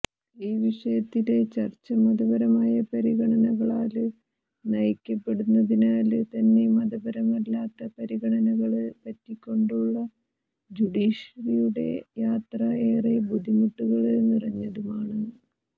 ഈ വിഷയത്തിലെ ചര്ച്ച മതപരമായ പരിഗണനകളാല് നയിക്കപ്പെടുന്നതിനാല് തന്നെ മതപരമല്ലാത്ത പരിഗണനകള് പറ്റിക്കൊണ്ടുളള ജഡീഷ്യറിയുടെ യാത്ര ഏറെ ബുദ്ധിമുട്ടുകള് നിറഞ്ഞതുമാണ്